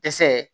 Dɛsɛ